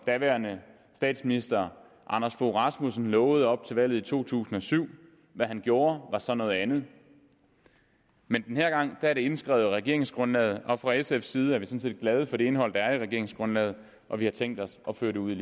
daværende statsminister anders fogh rasmussen lovede op til valget i to tusind og syv hvad han gjorde var så noget andet men den her gang er det indskrevet i regeringsgrundlaget og fra sfs side er vi sådan set glade for det indhold der er i regeringsgrundlaget og vi har tænkt os at føre det ud